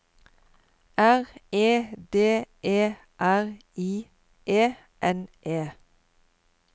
R E D E R I E N E